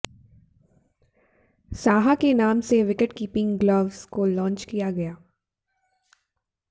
साहा के नाम से विकेटकीपिंग ग्लव्स को लांच किया गया